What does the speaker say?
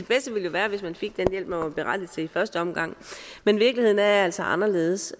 være hvis man fik den hjælp man var berettiget til i første omgang men virkeligheden er altså anderledes